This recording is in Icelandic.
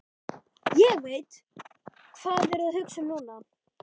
Ég veit, hvað þið eruð að hugsa um núna.